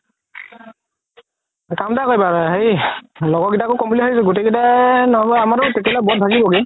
কাম এটা কৰিবা হেৰি লগৰ কেইটাকও ক'ম বুলি ভাবিছো গুতেই কেইটা